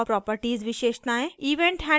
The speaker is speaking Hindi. event handlers घटना संचालकों को जोड़ना